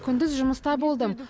күндіз жұмыста болдым